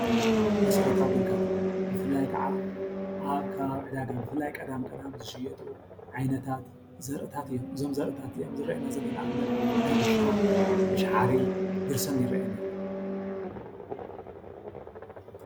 መሰረታዊ ግልጋሎት ብፍላይ ከዓ ኣብ ከባቢና ዕዳጋ ብፍላይ ቀዳም ዝሽጡ ዓይነታት ዘርእታት እዮም። እዞም ዘርእታት ዝረአየና ዘሎ ንኣብነት ፦ዳጉሻ፣ ምሻሓሪ ፣ብርስን ይረአየና ኣሎ።